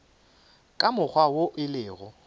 ka mokgwa wo e lego